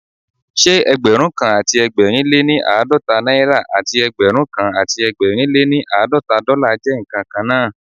Ṣé Ẹgbẹ̀rúnkan àti ẹgbẹ̀rin lé ní àádọ́ta náírà àti Ẹgbẹ̀rúnkan àti ẹgbẹ̀rin lé ní àádọ́ta dọ́là jẹ́ ǹkan kan náà?